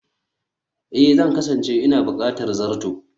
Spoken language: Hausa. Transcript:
Ee, Zan kasance ina buƙatar zato